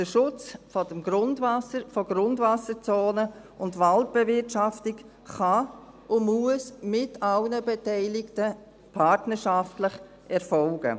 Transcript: Der Schutz von Grundwasserzonen und die Waldbewirtschaftung können und müssen mit allen Beteiligten partnerschaftlich erfolgen.